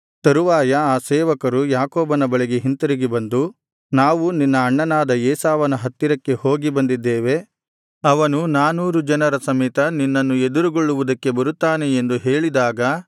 ತರುವಾಯ ಆ ಸೇವಕರು ಯಾಕೋಬನ ಬಳಿಗೆ ಹಿಂತಿರುಗಿ ಬಂದು ನಾವು ನಿನ್ನ ಅಣ್ಣನಾದ ಏಸಾವನ ಹತ್ತಿರಕ್ಕೆ ಹೋಗಿ ಬಂದಿದ್ದೇವೆ ಅವನು ನಾನೂರು ಜನರ ಸಮೇತ ನಿನ್ನನ್ನು ಎದುರುಗೊಳ್ಳುವುದಕ್ಕೆ ಬರುತ್ತಾನೆ ಎಂದು ಹೇಳಿದಾಗ